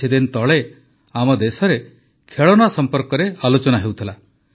କିଛିଦିନ ତଳେ ଆମ ଦେଶରେ ଖେଳଣା ସମ୍ପର୍କରେ ଆଲୋଚନା ହେଉଥିଲା